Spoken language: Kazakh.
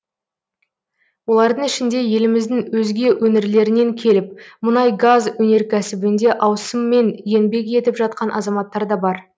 олардың ішінде еліміздің өзге өңірлерінен келіп мұнай газ өнеркәсібінде ауысыммен еңбек етіп жатқан азаматтар да бар